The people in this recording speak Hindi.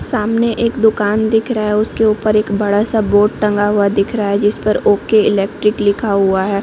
सामने एक दुकान दिख रहा है उसके ऊपर एक बड़ा सा बोर्ड टंगा हुआ दिख रहा है जिस पर ओके इलेक्ट्रिक लिखा हुआ है।